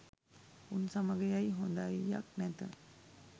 උන් සමග ඇයි හොදයියක් නැත